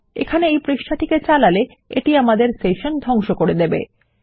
এখানে এই পৃষ্ঠাটিকে চালালে এটি আমাদের সেশন ধংশ করে দেবে